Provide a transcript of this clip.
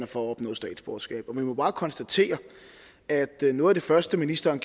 for at opnå statsborgerskab vi må bare konstatere at noget af det første ministeren